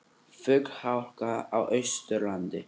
Flughálka á Austurlandi